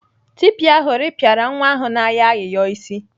Tipa ahụ rịpịara nwa ahụ na-ayọ ayịyọ isi.